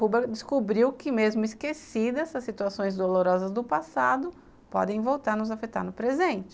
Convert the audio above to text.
Huber descobriu que mesmo esquecidas as situações dolorosas do passado podem voltar a nos afetar no presente